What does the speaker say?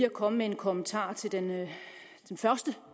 at komme med en kommentar til den første